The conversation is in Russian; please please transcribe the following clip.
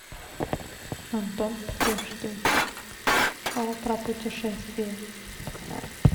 антон птушкин шоу про путешествия